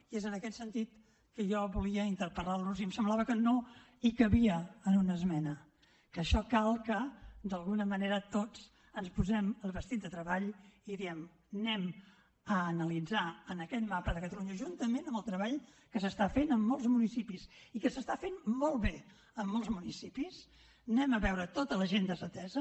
i és en aquest sentit que jo volia interpel·lar los i em semblava que no hi cabia en una esmena que en això cal que d’alguna manera tots ens posem el vestit de treball i diguem analitzem en aquest mapa de catalunya juntament amb el treball que s’està fent a molts municipis i que s’està fent molt bé en molts municipis vegem tota la gent desatesa